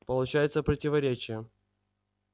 получается противоречие